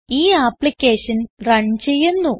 ഈ application run ചെയ്യുന്നു